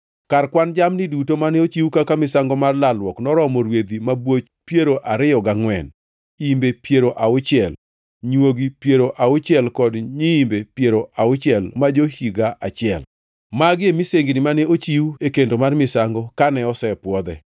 Kar kwan jamni duto mane ochiw kaka misango mar lalruok noromo rwedhi mabwoch piero ariyo gangʼwen, imbe piero auchiel, nywogi piero auchiel kod nyiimbe piero auchiel ma jo-higa achiel. Magi e misengini mane ochiw e kendo mar misango kane osepwodhe.